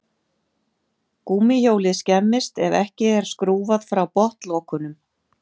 Gúmmíhjólið skemmist ef ekki er skrúfað frá botnlokunum.